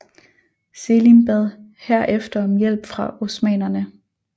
Selim bad herefter om hjælp fra osmannerne